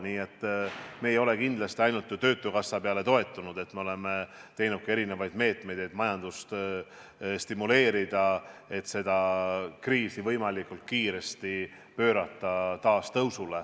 Nii et me ei ole kindlasti ainult töötukassale toetunud, me oleme teinud ka erinevaid meetmeid, et majandust stimuleerida ja pärast seda kriisi võimalikult kiiresti pöörata majandus taas tõusule.